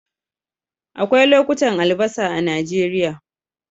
Akwai lokutan albasa a Najeriya